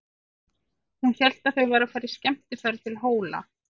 Hún hélt að þau væru að fara í skemmtiferð til Hóla.